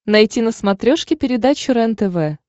найти на смотрешке передачу рентв